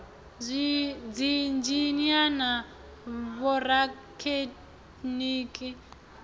dziinzhinia na vhorathekhiniki na u